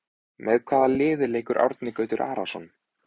Með hvaða liði leikur Árni Gautur Arason?